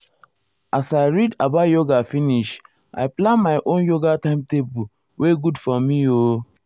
as i read about yoga finish i plan my own yoga timetable wey good for me ooooo.